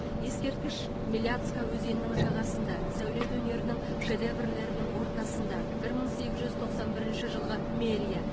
ескерткіш меляцка өзенінің жағасында сәулет өнерінің шедеврлерінің ортасында бір мың сегіз жүз тоқсан бірінші жылғы мэрия